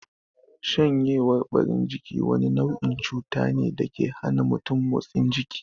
Shanyewar ɓarin jiki wani nau'in cuta ne dake hana mutum motsa jiki